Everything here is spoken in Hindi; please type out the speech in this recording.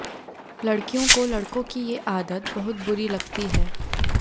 लड़कियों को लड़कों की ये आदत बहुत बुरी लगती है